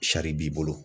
Sari b'i bolo